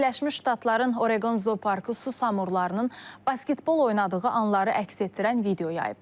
Birləşmiş Ştatların Oreqon zooparkı su samurlarının basketbol oynadığı anları əks etdirən video yayıb.